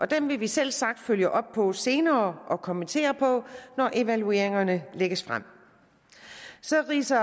dem vil vi selvsagt følge op på senere og kommentere når evalueringerne lægges frem så ridser